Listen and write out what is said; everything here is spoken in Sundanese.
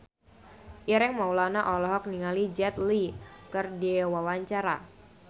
Ireng Maulana olohok ningali Jet Li keur diwawancara